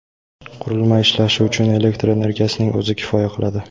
Qurilma ishlashi uchun elektr energiyasining o‘zi kifoya qiladi.